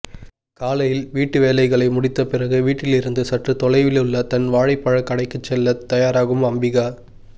காலையில் வீட்டு வேலைகளை முடித்தபிறகு வீட்டிலிருந்து சற்று தொலைவிலுள்ள தன் வாழைப்பழக் கடைக்குச் செல்லத் தயாராகும் அம்பிகா